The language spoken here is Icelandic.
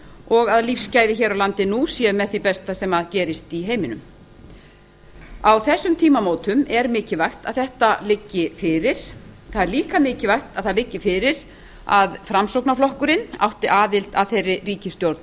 og að lífsgæði hér á landi nú séu með því besta sem gerist í heiminum á þessum tímamótum er mikilvægt að þetta liggi fyrir það er líka mikilvægt að það liggi fyrir að framsóknarflokkurinn átti aðild að þeirri ríkisstjórn